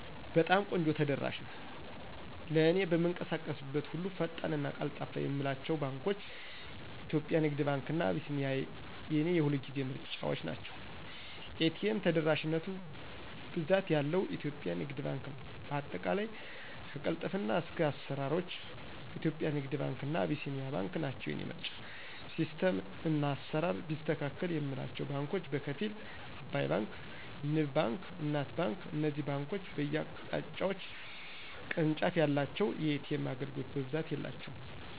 በጣም ቆንጆ ተደራሽ ነው። ለእኔ በምንቀሳቀስበት ሁሉ ፈጣን እና ቀልጣፋ የምላቸው ባንኳች :- ኢትዮጵያ ንግድ ባንክ እና አቢሲኒያ የኔ የሁልጊዜ ምርጫዎቸ ናቸው። ኤ.ቴ.ም ተደራሽነቱ ብዛት ያለው ኢትዮጵያ ንግድ ባንክ ነው በአጠቃላይ ከቅልጥፍና እስከ አስራሮች ኢትዮጵያ ንግድ ባንክ እና አቢሲኒያ ናቸው የኔ ምርጫ። ሲስተም እና አስራር ቢያስተካክል የምላቸው ባንኮች በከፊል። አባይ ባንክ; ንብ ባንክ: እናት ባንክ እነዚህ ባንኮች በየ አካባቢዎች ቅርንጫፍ የላቸውም። የኤ.ቴም አገልግሎት በብዛት የላቸውም